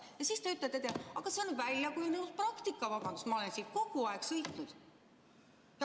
Ja siis te ütlete talle, et see on väljakujunenud praktika, vabandust, ma olen kogu aeg nii sõitnud.